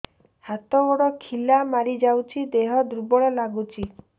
ହାତ ଗୋଡ ଖିଲା ମାରିଯାଉଛି ଦେହ ଦୁର୍ବଳ ଲାଗୁଚି